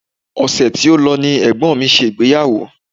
Ọṣẹ̀ tí ó lọ ni ẹ̀gbọ́n mi ṣe ìgbéyàwó